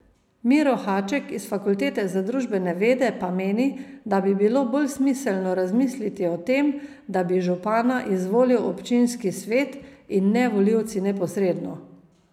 Miro Haček iz Fakultete za družbene vede pa meni, da bi bilo bolj smiselno razmisliti o tem, da bi župana izvolil občinski svet in ne volivci neposredno.